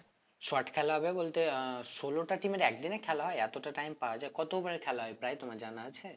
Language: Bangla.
shot খেলা হবে বলতে আহ ষোলোটা team এর একদিনে খেলা হয় এতটা time পাওয়া যায় কত over এ খেলা হয় প্রায় তোমার জানা আছে?